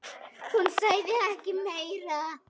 Hún sagði ekki meira.